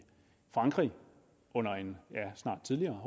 frankrig under en snart tidligere